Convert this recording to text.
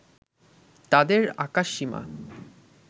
তাদের আকাশসীমা